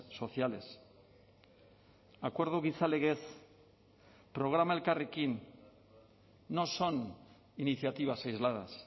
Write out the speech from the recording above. sociales acuerdo gizalegez programa elkarrekin no son iniciativas aisladas